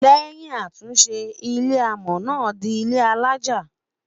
lèyìn àtúnṣe, ilé amò Na dì ilé alájá